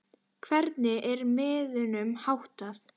Hvernig er miðunum háttað?